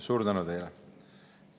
Suur tänu teile!